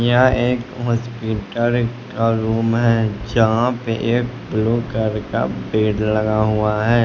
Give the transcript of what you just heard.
यह एक हॉस्पिटल का रूम है यहां पे एक ब्लू कलर का बेड लगा हुआ है।